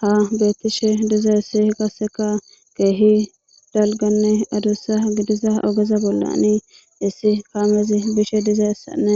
ha beettishe diza issi qasseka keehi dalganne adussa gidiza ogeza bollanii issi kaamezi bishe diza issanne